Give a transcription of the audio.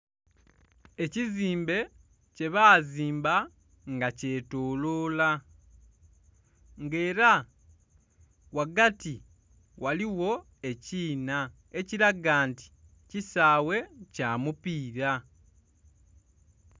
Ekizimbe kyebazimba nga kyetoloola nga era ghagati ghaligho ekiinha, ekilaga nti kisaawe kya mupiira.